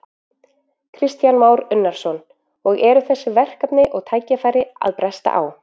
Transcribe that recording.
Kristján Már Unnarsson: Og eru þessi verkefni og tækifæri að bresta á?